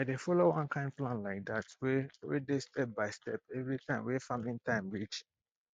i dey follow one kind plan like dat wey wey dey step by step everytime wey farming time reach